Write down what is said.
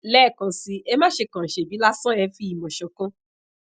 lẹẹkansi e maṣe kan sebi lasan e fi imo sokan